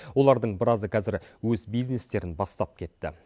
олардың біразы қазір өз бизнестерін бастап кетті